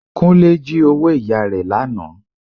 Kúnlé jí owó ìyá rẹ lánàá